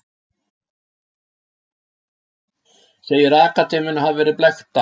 Segir akademíuna hafa verið blekkta